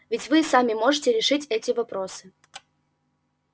ведь вы и сами можете решить эти вопросы